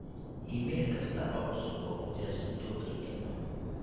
iimayl kasta oo cusub oo ku jira sanduuqayga